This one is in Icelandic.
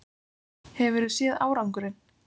Hefurðu séð árangurinn?